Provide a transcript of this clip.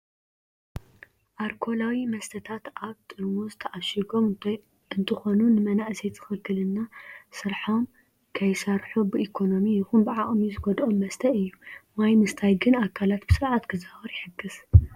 ኣርኮላዊ መስተታት ኣብ ጥርዝ ተኣሺጎም እንትኮኑ ንመናእሰይ ትኽኽለና ስረሖም ከይሰርሑ ብኢኮኖሚ ይኩን ብዓቅሚ ዝጎደኦም መስተ እዩ። ማይ ምስታይ ግን ኣካላት ብስርዓት ክዛወር ይሕግዝ።